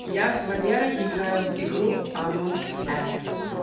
я с валерой играю в игру амонг ас